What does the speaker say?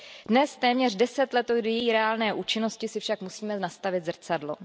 Dnes, téměř 10 let od její reálné účinnosti, si však musíme nastavit zrcadlo.